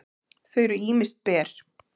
þau eru ýmist ber